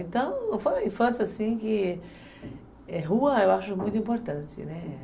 Então, foi uma infância assim que... É, rua eu acho muito importante, né?